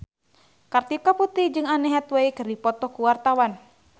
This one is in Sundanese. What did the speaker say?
Kartika Putri jeung Anne Hathaway keur dipoto ku wartawan